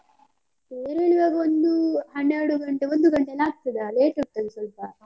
ತೇರು ಎಳಿವಾಗ ಒಂದು ಹನ್ನೆರಡು ಗಂಟೆ ಒಂದು ಗಂಟೆ ಎಲ್ಲ ಆಗ್ತದಾ, late ಆಗ್ತದೆ ಸ್ವಲ್ಪ.